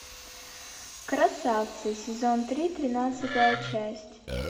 красавцы сезон три тринадцатая часть